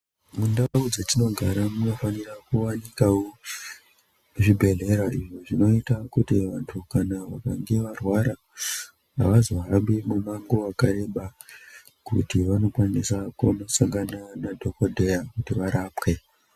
Mundau dzatino gara muno fanira ku wanikwawo zvi bhedhlera izvo zvinoita kuti vantu kana vakange varwara avazo hambi mu mango waka reba kuti vano kwanisa kono sangana na dhokodheya kuti varapwe.